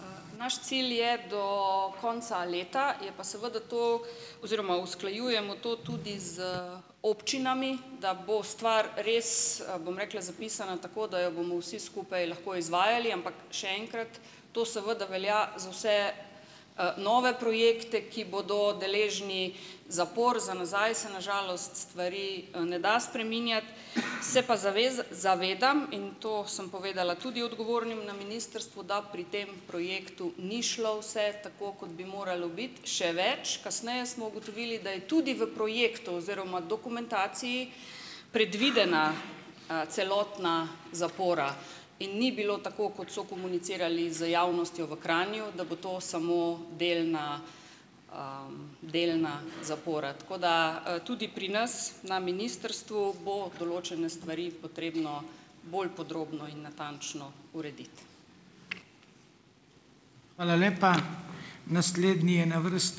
Naš cilj je do konca leta, je pa seveda to oziroma usklajujemo to tudi z občinami, da bo stvar res, bom rekla, zapisana tako, da jo bomo vsi skupaj lahko izvajali, ampak še enkrat, to seveda velja za vse, nove projekte, ki bodo deležni zapor. Za nazaj se na žalost stvari ne da spreminjati, se pa zavez zavedam in to sem povedala tudi odgovornim na ministrstvu, da pri tem projektu ni šlo vse tako, kot bi moralo biti - še več, kasneje smo ugotovili, da je tudi v projektu oziroma dokumentaciji, predvidena, celotna zapora in ni bilo tako, kot so komunicirali z javnostjo v Kranju, da bo to samo delna, delna zapora, tako da, tudi pri nas, na ministrstvu bo določene stvari potrebno bolj podrobno in natančno urediti.